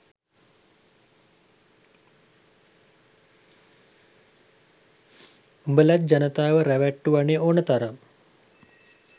උඹලත් ජනතාව රැවැට්ටුවනෙ ඕනෙ තරම්